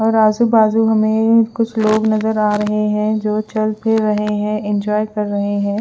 और आजू बाजू हमे कुछ लोग नजर आ रहे है जो चल फिर रहे है इंजॉय कर रहे है।